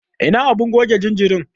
Ina abun goge jinjirin?